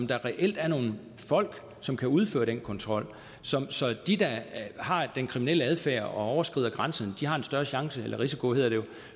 der reelt er nogle folk som kan udføre den kontrol så så de der har den kriminelle adfærd og overskrider grænserne har en større risiko